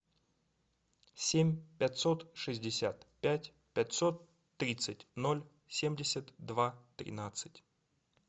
семь пятьсот шестьдесят пять пятьсот тридцать ноль семьдесят два тринадцать